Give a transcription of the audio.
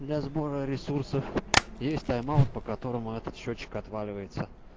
для сбора ресурсов есть тайм-аут по которому этот счётчик отваливается